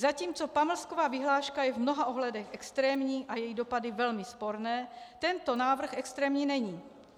Zatímco pamlsková vyhláška je v mnoha ohledech extrémní a její dopady velmi sporné, tento návrh extrémní není.